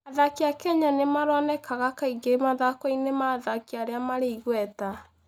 Athaki a Kenya nĩ maronekaga kaingĩ mathako-inĩ ma athaki arĩa marĩ igweta.